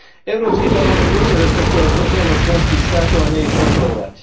Európsky parlament musí rešpektovať zvrchovanosť členských štátov, a nie ich kontrolovať.